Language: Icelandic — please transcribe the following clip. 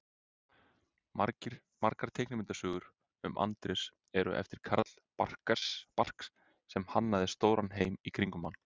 Margar teiknimyndasögurnar um Andrés eru eftir Carl Barks sem hannaði stóran heim í kringum hann.